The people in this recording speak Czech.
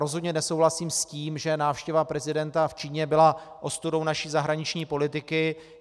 Rozhodně nesouhlasím s tím, že návštěva prezidenta v Číně byla ostudou naší zahraniční politiky.